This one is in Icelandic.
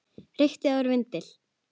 Reykti áður vindil.